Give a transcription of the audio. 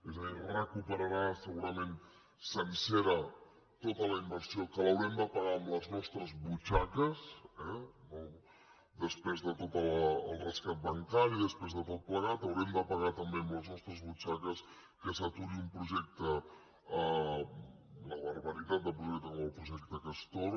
és a dir recuperarà segurament sencera tota la inversió que l’haurem de pagar de les nostres butxaques eh després de tot el rescat bancari després de tot plegat haurem de pa gar també de les nostres butxaques que s’aturi un projecte una barbaritat de projecte com el projecte castor